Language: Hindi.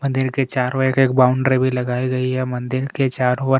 मंदिर के चारो एक एक बॉण्ड्री लगाई गई हैं ये मंदिर के चारो ओर--